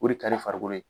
O de ka ɲi farikolo ye